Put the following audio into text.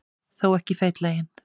Þó ekki feitlaginn.